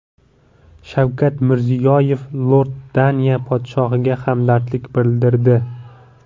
Shavkat Mirziyoyev Iordaniya podshohiga hamdardlik bildirdi.